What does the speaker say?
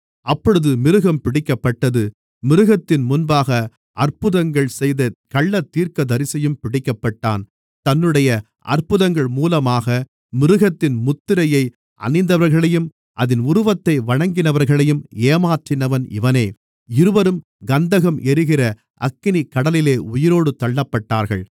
அப்பொழுது மிருகம் பிடிக்கப்பட்டது மிருகத்தின் முன்பாக அற்புதங்கள் செய்த கள்ளத்தீர்க்கதரிசியும் பிடிக்கப்பட்டான் தன்னுடைய அற்புதங்கள் மூலமாக மிருகத்தின் முத்திரையை அணிந்தவர்களையும் அதின் உருவத்தை வணங்கினவர்களையும் ஏமாற்றினவன் இவனே இருவரும் கந்தகம் எரிகிற அக்கினிக்கடலிலே உயிரோடு தள்ளப்பட்டார்கள்